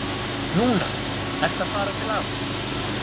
Núna ertu að fara til afa.